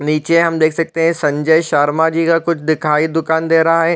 नीचे हम देख सकते है संजय शर्मा जी का कुछ दिखाई दुकान दे रहा हैं ।